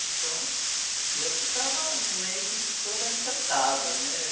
Então, eu ficava no meio disso toda encantada, né?